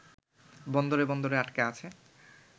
বন্দরে বন্দরে আটকে আছে